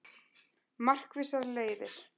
Markvissar leiðir